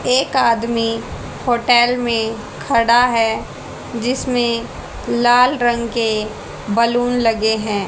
एक आदमी होटेल में खड़ा हैं जिसमें लाल रंग के बलून लगे हैं।